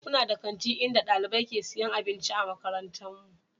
We have a school canteen in our school where students buy food.